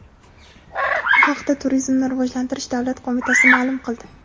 Bu haqda Turizmni rivojlantirish davlat qo‘mitasi ma’lum qildi .